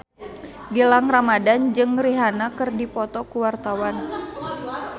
Gilang Ramadan jeung Rihanna keur dipoto ku wartawan